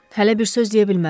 Hələ bir söz deyə bilmərəm.